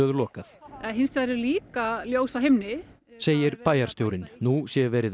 lokað hins vegar eru líka ljós á himni segir bæjarstjórinn nú sé verið